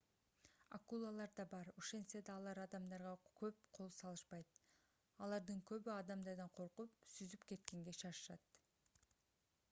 акулалар да бар ошентсе да алар адамдарга көп кол салышпайт алардын көбү адамдардан коркуп сүзүп кеткенге шашышат